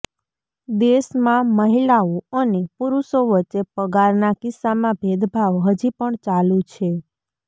દેશમાં મહિલાઓ અને પુરુષો વચ્ચે પગારના કિસ્સામાં ભેદભાવ હજી પણ ચાલુ છે